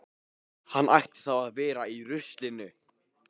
Hann ætti þá að vera í ruslinu.